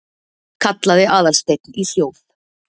kallaði Aðalsteinn í hljóð